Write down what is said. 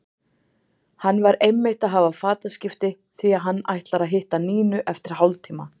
Hann var einmitt að hafa fataskipti því að hann ætlar að hitta Nínu eftir hálftíma.